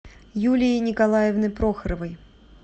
юлии николаевны прохоровой